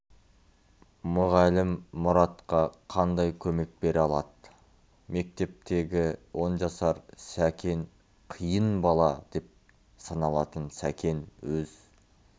мұғалім мұратқа қандай көмек бере алады мектептегі он жасар сакен қиын бала деп саналатын сакен өз